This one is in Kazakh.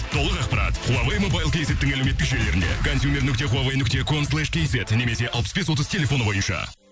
толық ақпарат хуавей мобайл кейзеттің әлеуметтік желілерінде консьюмер нүкте хуавей нүкте кослейш кейзт немесе алпыс бес отыз телефоны бойынша